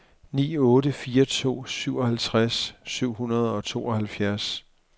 ni otte fire to syvoghalvtreds syv hundrede og tooghalvfjerds